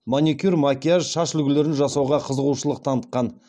маникюр макияж шаш үлгілерін жасауға қызығушылық танытқан